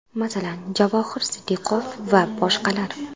Masalan, Javohir Sidiqov va boshqalar.